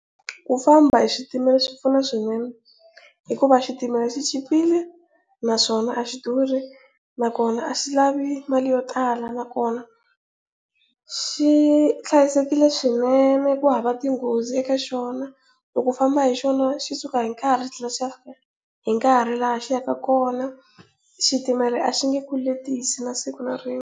Ku famba hi switimela swi pfuna swinene hikuva xitimela xi chipile naswona a xi durhi nakona a xi lavi mali yo tala nakona xi hlayisekile swinene ku hava tinghozi eka xona loko u famba hi xona xi suka hi nkarhi xi thlela xi ya fika hi nkarhi laha xi yaka kona, xitimela a xi nge ku letisi na siku na rin'we.